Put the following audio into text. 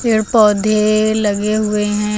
पेड़ पौधे लगे हुए हैं।